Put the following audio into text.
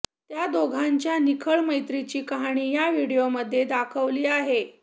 त्या दोघांच्या निखळ प्रेमाची कहाणी या व्हिडिओमध्ये दाखवली आहे